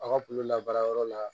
A' ka kulu la baara yɔrɔ la